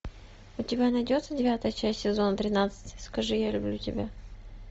у тебя найдется девятая часть сезона тринадцать скажи я люблю тебя